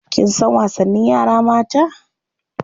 Kin san wasannin yara mata?